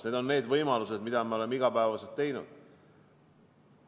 Need on need võimalused, mida me oleme igapäevaselt teinud.